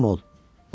Xatircəm ol.